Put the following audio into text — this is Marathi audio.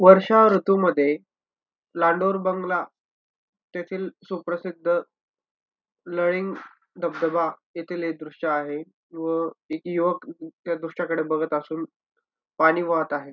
वर्षा ऋतूमध्ये लांडोर बंगला तेथील सुप्रसिद्ध लळिंग धबधबा येथील हे दृश्य आहे. व इथे युवक त्या दृश्याकडे बघत असून पाणी वाहत आहे.